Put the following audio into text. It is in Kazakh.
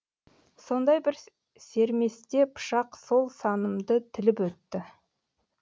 сондай бір серместе пышақ сол санымды тіліп өтті